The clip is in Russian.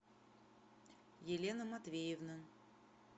елена матвеевна